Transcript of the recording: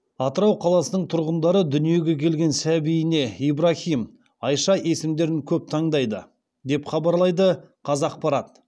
атырау қаласының тұрғындары дүниеге келген сәбиіне ибраһим айша есімдерін көп таңдайды деп хабарлайды қазақпарат